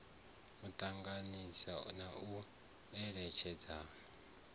u ṱanganyisa na u eletshedzana